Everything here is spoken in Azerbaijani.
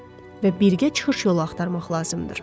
və birgə çıxış yolu axtarmaq lazımdır.